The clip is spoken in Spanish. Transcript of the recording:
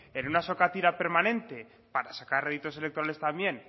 en una sokatira permanente para sacar réditos electorales también